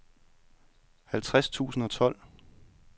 halvtreds tusind og tolv